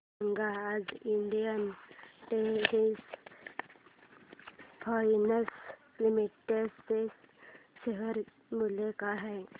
सांगा आज Indian terrain fashions limited चे शेअर मूल्य काय आहे